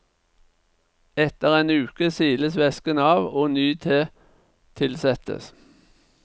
Etter en uke siles væsken av, og ny te tilsettes.